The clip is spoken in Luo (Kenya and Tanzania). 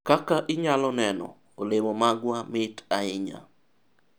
kaka inyalo neno, olemo magwa mit ahinya